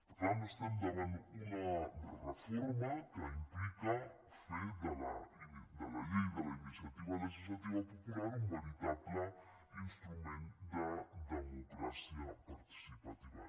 per tant estem davant una reforma que implica fer de la llei de la iniciativa legislativa popular un veritable instrument de democràcia participativa